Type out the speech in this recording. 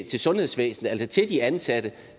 til sundhedsvæsenet altså til de ansatte